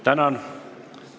Tänan!